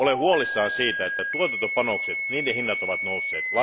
Olen huolissani siitä, että tuotantopanosten hinnat ovat nousseet.